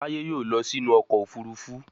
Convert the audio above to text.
Taye yóò ló sí inú ọkọ̀ òfurufú